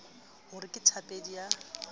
ho re ke thapedi ya